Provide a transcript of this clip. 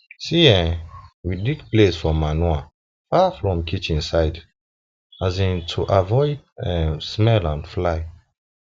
um we dig place for manure far from kitchen side um to avoid um smell and fly